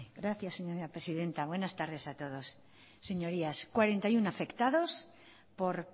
gracias señora presidenta buenas tardes a todos señorías cuarenta y uno afectados por